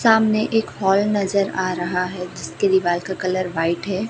सामने एक हॉल नजर आ रहा है जिसके दीवाल का कलर व्हाइट है।